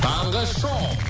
таңғы шоу